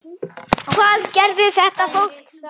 Hvað gerði þetta fólk þá?